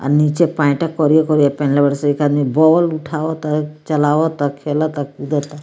अ नीचे पैंट करिया-करिया पहिनले बाड़े स एक आदमी बॉल उठावता उ चलावता खेलता कूदता।